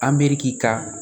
Amiriki ka